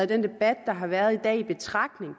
den debat der har været i dag taget i betragtning